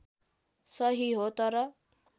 सही हो तर